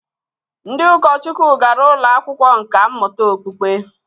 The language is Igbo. Ndị ụkọchukwu gara ụlọ akwụkwọ nkà mmụta okpukpe